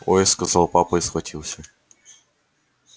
ой сказал папа и схватился